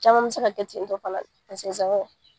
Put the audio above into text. Caman bɛ se ka kɛ ten tɔ fana